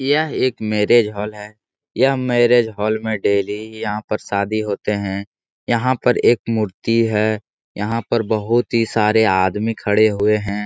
यह एक marriage hall है। यह मैरिज हॉल में डेली यहाँ पर शादी होते है। यहाँ पर एक मूर्ति है। यहाँ पर बहुत ही सारे आदमी खड़े हुए है।